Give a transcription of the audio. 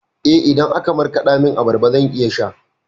Eh, idan aka markaɗa min abarba zan iya sha.